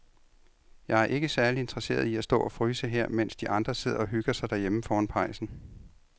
Jeg er ikke særlig interesseret i at stå og fryse her, mens de andre sidder og hygger sig derhjemme foran pejsen.